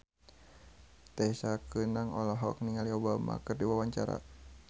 Tessa Kaunang olohok ningali Obama keur diwawancara